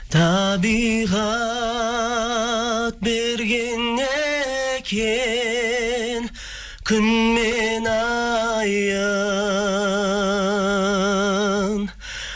табиғат берген екен күн мен айын